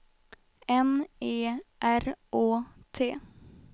N E R Å T